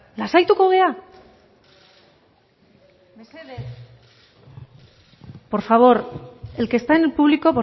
lasaituko gara mesedez por favor el que está en el público